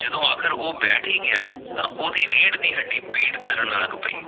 ਜਦੋਂ ਆਖ਼ਰ ਉਹ ਬੈਠ ਹੀ ਗਿਆ ਤਾਂ ਉਹਦੀ ਰੀੜ ਦੀ ਹੱਡੀ ਪੀੜ ਕਰਨ ਲੱਗ ਪਈ